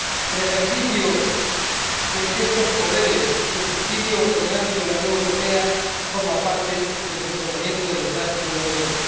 El ejercicio de estos poderes y su escrutinio en el ámbito de la Unión Europea forman parte del funcionamiento democrático de la Unión.